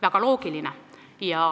Väga loogiline.